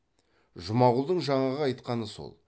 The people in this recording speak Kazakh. жұмағұлдың жаңағы айтқаны сол